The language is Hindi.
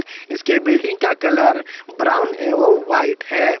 इसके बिल्डिंग का कलर ब्राउन एवं व्हाइट है।